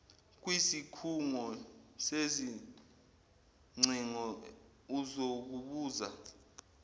kwisikhungo sezingcingo uzokubuza